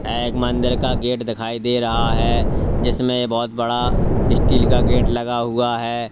यह एक मंदिर का गेट दिखाई दे रहा है जिसमें बहुत बड़ा स्टील का गेट लगा हुआ है।